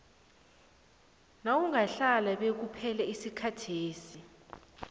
nawungahlala bekuphele isikhathesi